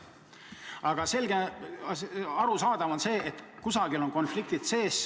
Aga selge on see, et kuskil on konfliktid sees.